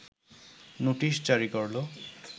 notice জারি করলো